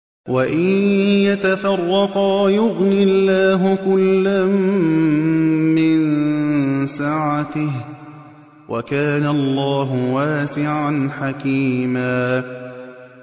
وَإِن يَتَفَرَّقَا يُغْنِ اللَّهُ كُلًّا مِّن سَعَتِهِ ۚ وَكَانَ اللَّهُ وَاسِعًا حَكِيمًا